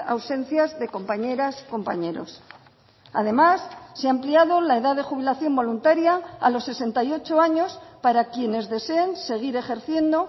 ausencias de compañeras compañeros además se ha ampliado la edad de jubilación voluntaria a los sesenta y ocho años para quienes deseen seguir ejerciendo